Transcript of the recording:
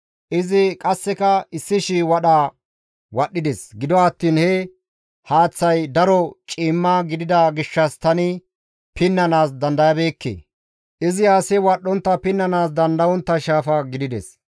Izi qasseka 1,000 wadha wadhdhides. Gido attiin he haaththazi daro ciimma gidida gishshas tani pinnanaas dandayabeekke; izi asi wadhdhontta pinnanaas dandayontta shaafa gidides.